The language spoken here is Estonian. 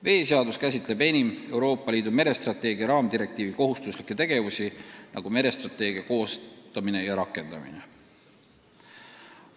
Veeseadus käsitleb enim Euroopa Liidu merestrateegia raamdirektiivi kohustuslikke tegevusi, nagu merestrateegia koostamine ja rakendamine.